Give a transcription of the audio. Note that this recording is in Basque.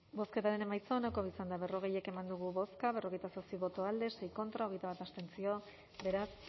bozketaren emaitza onako izan da berrogei eman dugu bozka berrogeita zazpi boto alde sei contra hogeita bat abstentzio beraz